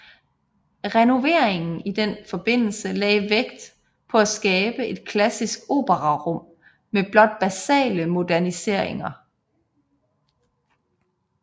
Renoveringen i den forbindelse lagde vægt på at skabe et klassisk operarum med blot basale moderniseringer